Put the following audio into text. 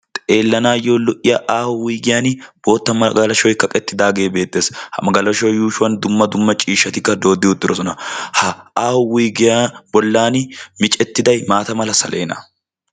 Xeelanayo lo'iya aaho wuygiyan bootta magalashoy kaqqeti uttidage beetees. Ha magalashuwa yushuwan dumma dumma ciishshatikka dodi uttidosona. Ha aaho wuygiya bollani miccetiyaday maata meera saleena.